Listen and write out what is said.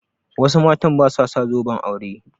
Wasu matan ba su sa zoben aure.